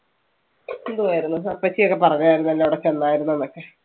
എന്തുവായിരന്ന് അപ്പച്ചി ഒക്കെ പറഞ്ഞായിരുന്നല്ലോ അവിടെ ചെന്നായിരുന്നുന്നൊക്കെ.